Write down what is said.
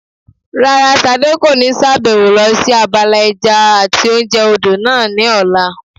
Rárá, Ṣadé kò ní sàbẹ̀wò lọ sí abala ẹja àti oúnjẹ odò náà ní ọ̀la